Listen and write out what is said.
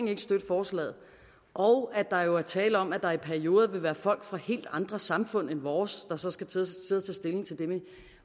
ville støtte forslaget og at der var tale om at der i perioder ville være folk fra helt andre samfund end vores der så skulle til at sidde og tage stilling til det med